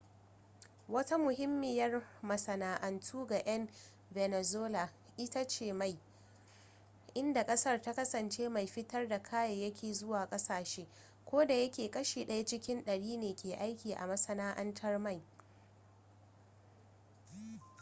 wata muhimmiyar masana'antu ga 'yan venezuela ita ce mai inda ƙasar ta kasance mai fitar da kayayyaki zuwa ƙasashe kodayake kashi ɗaya cikin ɗari ne ke aiki a masana'antar mai